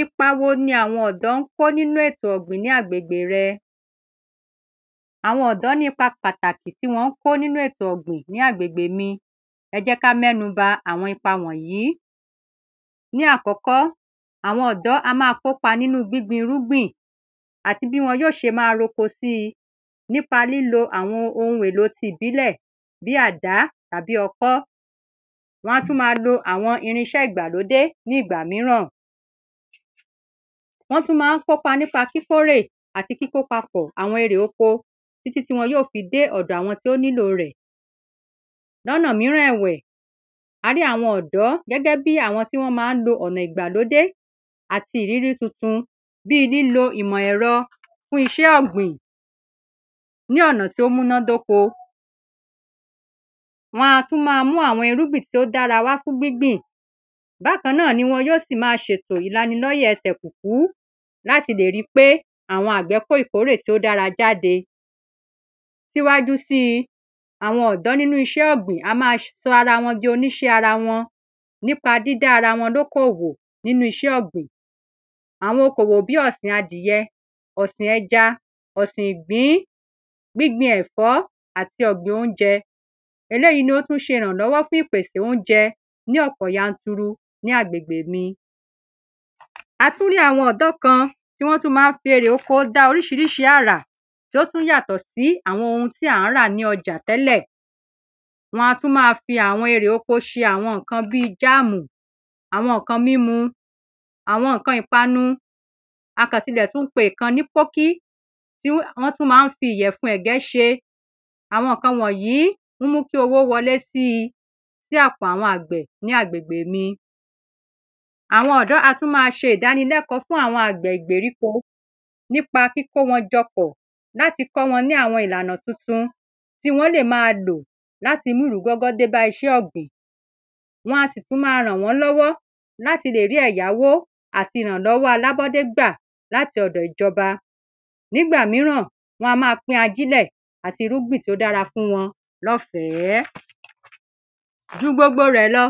Ipa wo ni àwọn ọ̀dọ́ ń kó nínú ètò ọ̀gbìn ní agbègbè rẹ? Àwọn ọ̀dó ní ipa pàtàkì tí wọ́n ń kó nínú ètò ọ̀gbìn ní agbègbè mi ẹ jẹ́ ká mẹ́nu ba àwọn ipa wọ̀nyìí. Ní àkọ́kọ́ àwọn ọ̀dọ́ á má kópa nínú gbíngbin irúgbìn àti bí wọn yó ṣe má roko sí nípa lílo àwọn ohun èlò ti ìbílẹ̀ bí àdá tàbí ọkọ́ wọ́n á tún má lo àwọn irinṣẹ́ ìgbàlódé ní ìgbà míràn. Wọ́n tún má ń kópa nípa kíkórè àti kíkó papọ̀ àwọn erè oko títí tí wọn yó fi dé ọ̀dọ̀ àwọn tó nílò rẹ̀. Lónà míràn ẹ̀wẹ̀ a rí àwọn ọ̀dọ́ gẹ́gẹ́ bí àwọn tí wọ́n má ń lo ọ̀nà ìgbàlódé àti ìrírí tuntun bí lílo ìmọ̀ ẹ̀rọ fún iṣẹ́ ọ̀gbìn ní ọ̀nà tí ó múná dóko. Wọn a tún má mú àwọn irúgbìn tí ó dára wá fún gbíngbìn bákan náà ni wọn ó sì má ṣètò ìlàni lọ́yẹ̀ ẹsẹ̀ kùkú láti lè rí pé àwọn àgbẹ̀ kó ìkórè tí ó dára jáde. Síwájú sí àwọn ọ̀dọ́ nínú iṣẹ́ ọ̀gbìn á má sa ara wọn jọ oníṣé ara wọn nípa dídá ara wọn lókò òwó nínú iṣẹ́ ọ̀gbìn àwọn oko òwò bí ọ̀sìn adìẹ ọ̀sìn ẹja ọ̀sìn ìgbín gbíngbin ẹ̀fọ́ àti óúnjẹ eléèyí ni ó tún ṣe ìrànlọ́wọ́ fún ìpèsè óúnjẹ ní ọ̀pọ̀ yanturu ní agbègbè mi. A tún rí àwọn ọ̀dọ́ kan tí wọ́n tún má ń fi ère oko dá oríṣiríṣi àrà tó tún yàtọ̀ sí àwọn ohun tí à ń rà ní ọjà tẹ́lẹ̀. Wọ́n á tún má fi àwọn nǹkan erè oko ṣe bí jáàmù àwọn nǹkan mímu àwọn nǹkan ìpanu a kàn tilẹ̀ tún ń pe ìkan ní pókí tí wọ́n tún má ń fi ìyẹ̀fun ẹ̀gẹ́ ṣe àwọn nǹkan wọ̀nyìí ń mú kí owó wọlé sí sí àpò àwọn àgbẹ̀ ní agbègbè mi. Àwọn ọ̀dọ́ á tún má ṣe ìdánilẹ́kọ̀ọ́ fún àwọn àgbẹ̀ ìgbèríko nípa kíkó wọn jọ pọ̀ láti kọ́ wọn ní àwọn ìlànà tuntun tí wọ́n lè má lò láti mú ìrúgọ́gọ́ bá iṣẹ́ ògbìn. wọn a sì tún má ràn wọ́n lọ́wọ́ láti le rí ẹ̀yáwó àti ìrànlọ́wọ́ alábọ́dé gbà láti ọ̀dọ̀ ìjọba. Nígbà míràn wọ́n á má pín ajílẹ̀ àti irúgbìn tí ó dára fún wọn lọ́fẹ̀ẹ́. Ju gbogbo rẹ̀ lọ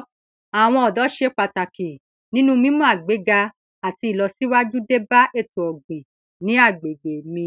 àwọn ọ̀dọ́ ṣe pàtàkì nínú mímú àgbéga àti ìlọsíwájú bá ètò ọ̀gbìn ní agbègbè mi.